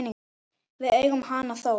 Við eigum hana þó.